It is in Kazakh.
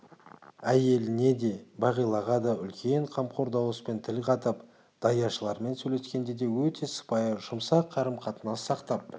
әйеліне де бағилаға да үлкен қамқор дауыспен тіл қатып даяшылармен сөйлескенде де өте сыпайы жұмсақ қарым-қатынас сақтап